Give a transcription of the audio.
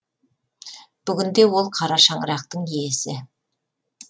бүгінде ол қара шаңырақтың иесі